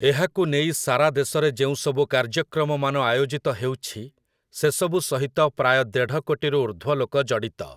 ଏହାକୁ ନେଇ ସାରା ଦେଶରେ ଯେଉଁସବୁ କାର୍ଯ୍ୟକ୍ରମମାନ ଆୟୋଜିତ ହେଉଛି, ସେସବୁ ସହିତ ପ୍ରାୟ ଦେଢ଼ କୋଟିରୁ ଉର୍ଦ୍ଧ୍ୱ ଲୋକ ଜଡ଼ିତ ।